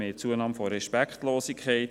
Wir haben eine Zunahme von Respektlosigkeit.